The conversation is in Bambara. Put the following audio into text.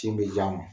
Tin be di a ma